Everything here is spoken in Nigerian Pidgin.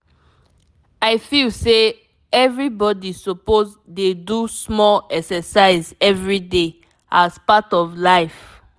i feel say everybody suppose dey do small exercise everyday as part of life.